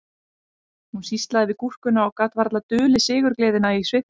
Hún sýslaði við gúrkuna og gat varla dulið sigurgleðina í svipnum